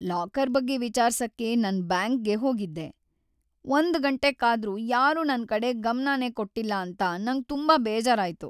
Locker ಬಗ್ಗೆ ವಿಚಾರ್ಸಕೆ ನಾನ್ ಬ್ಯಾಂಕ್ಗೆ ಹೋಗಿದ್ದೆ ಒಂದ್ ಗಂಟೆ ಕಾದ್ರೂ ಯಾರೂ ನನ್ ಕಡೆ ಗಮ್ನನೇ ಕೊಟ್ಟಿಲ್ಲ ಅಂತ ನಂಗ್ ತುಂಬಾ ಬೇಜಾರಾಯ್ತು.